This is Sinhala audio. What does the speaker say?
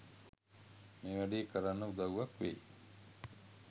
මේ වැඩේ කරන්න උදව්වක් වෙයි..